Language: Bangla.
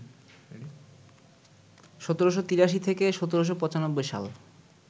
১৭৮৩ থেকে ১৭৯৫ সাল